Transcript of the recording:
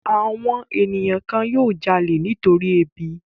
Àwọn ènìyàn kan yóò jalè nítorí ebi.